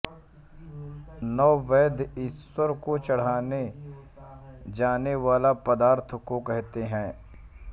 नैवेद्य ईश्वर को चढ़ाये जाने वाले पदार्थ को कहते हैं